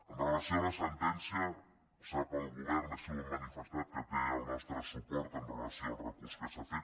en relació amb la sentència sap el govern així ho hem manifestat que té el nostre suport en relació amb el recurs que s’ha fet